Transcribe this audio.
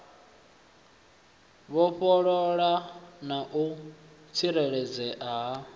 vhofholowa na u tsireledzea ha